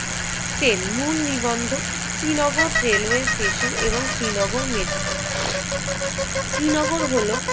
Train! মূল নিবন্ধক Srinagar railway station এবং শ্রীনগর মেট্রো শ্রীনগর হল